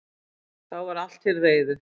Þá var allt til reiðu